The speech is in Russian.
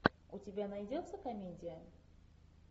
у тебя найдется комедия